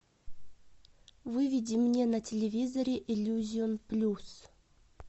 выведи мне на телевизоре иллюзион плюс